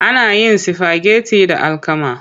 Ana yin sifageti da alkama.